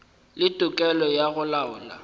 le tokelo ya go laola